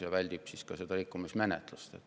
See väldib ka rikkumismenetlust.